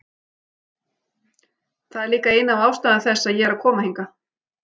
Það er líka ein af ástæðum þess að ég er að koma hingað.